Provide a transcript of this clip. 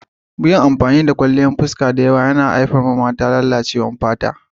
Yin amfani da kwalliyan fuska da yawa yana haifar da lalacewar fata ga mata.